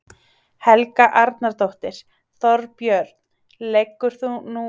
Helga Arnardóttir: Þorbjörn, liggur nú fyrir hverjar þær verða?